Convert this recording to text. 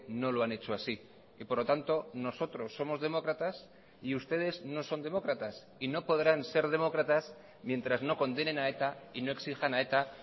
no lo han hecho así y por lo tanto nosotros somos demócratas y ustedes no son demócratas y no podrán ser demócratas mientras no condenen a eta y no exijan a eta